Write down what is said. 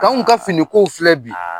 K' anw ka finiko filɛ bi;